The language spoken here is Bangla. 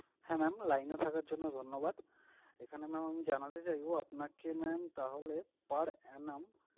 হ্যাঁ mam, line এ থাকার জন্য ধন্যবাদ। এখানে mam আমি জানাতে চাইবো আপনাকে mam তাহলে per annum